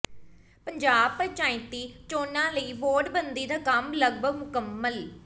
ਪੰਜਾਬ ਪੰਚਾਇਤੀ ਚੋਣਾਂ ਲਈ ਵਾਰਡ ਬੰਦੀ ਦਾ ਕੰਮ ਲਗਭਗ ਮੁਕੰਮਲ